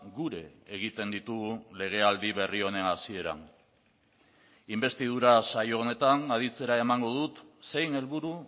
gure egiten ditugu legealdi berri honen hasieran inbestidura saio honetan aditzera emango dut zein helburu